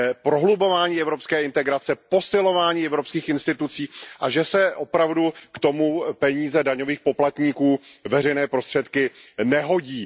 prohlubování evropské integrace, posilování evropských institucí, a že se opravdu k tomu peníze daňových poplatníků, veřejné prostředky nehodí.